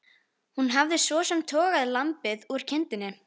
Hún hafði svo sem togað lambið úr kindinni.